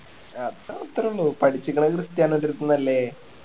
അത് അത്രേ ഉള്ളൂ പഠിച്ചിക്കണേ ക്രിസ്റ്റിയാനോൻ്റെ അടുത്തുന്നല്ലേ